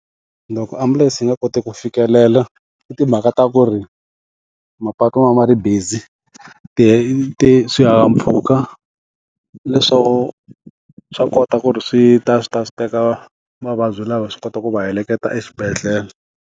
Loko ambulense yi nga koti ku fikelela i timhaka ta ku ri mapatu ma ma ri busy ti ti swihahampfhuka leswaku swa kota ku ri swi ta swi ta swi teka vavabyi lava swi kota ku va heleketa exibedhlele.